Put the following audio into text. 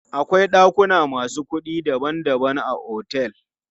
Akwai ɗakuna masu kuɗi daban daban a otel.